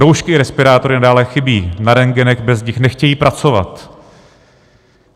Roušky i respirátory nadále chybí, na rentgenech bez nich nechtějí pracovat.